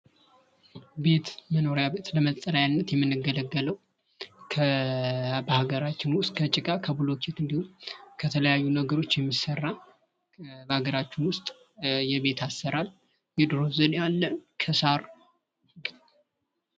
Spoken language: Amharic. ቤት፤ መኖሪያ ቤት ለመጠለያነት የምንገለገለው፣ በሃገራችን ከጭቃ፣ ከብሎኬት እንዲሁም ከተለያዩ ነገሮች የሚሰራ፣ በሃገራችን ውስጥ የቤት አሰራር የድሮ ዘመን ከሳር።